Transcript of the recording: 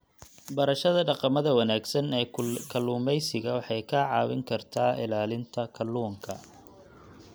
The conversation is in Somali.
Barashada dhaqamada wanaagsan ee kalluumeysiga waxay kaa caawin kartaa ilaalinta kalluunka.